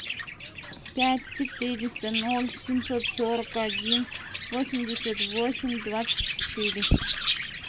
пять четыреста ноль семьсот сорок один восемьдесят восемь двадцать четыре